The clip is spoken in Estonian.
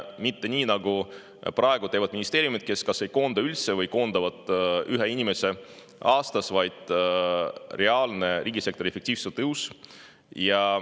Mitte nii, nagu praegu teevad ministeeriumid, kes kas ei koonda üldse või koondavad ühe inimese aastas, vaid reaalne riigisektori efektiivsuse tõus.